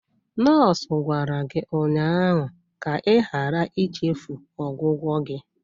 Nọọsụ gwara gị ụnyaahụ ka ịghara ichefu ọgwụgwọ gị!